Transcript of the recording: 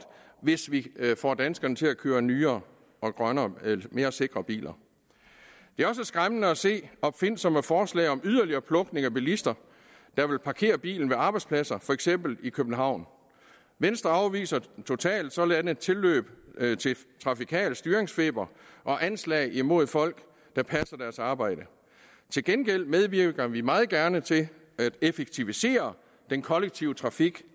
hvis vi får danskerne til at køre i nyere grønnere og mere sikre biler det er også skræmmende at se opfindsomme forslag om yderligere plukning af bilister der vil parkere bilen ved arbejdspladser for eksempel i københavn venstre afviser totalt sådanne tilløb til trafikal styringsfeber og anslag imod folk der passer deres arbejde til gengæld medvirker vi meget gerne til at effektivisere den kollektive trafik